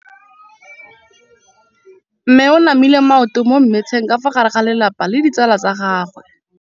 Mme o namile maoto mo mmetseng ka fa gare ga lelapa le ditsala tsa gagwe.